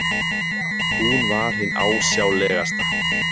Hún var hin ásjálegasta.